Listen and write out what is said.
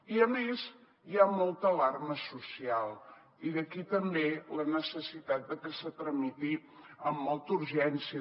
i a més hi ha molta alarma social i d’aquí ve també la necessitat de que es tramiti amb molta urgència